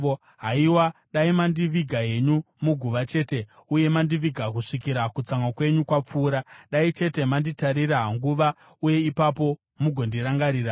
“Haiwa, dai mandiviga henyu muguva chete, uye mandiviga kusvikira kutsamwa kwenyu kwapfuura! Dai chete manditarira nguva, uye ipapo mugondirangarira!